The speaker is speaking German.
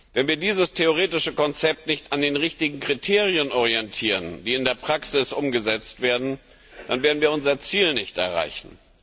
Wenn wir dieses theoretische Konzept nicht an den richtigen Kriterien orientieren, die in der Praxis umgesetzt werden, dann werden wir unser Ziel nicht erreichen.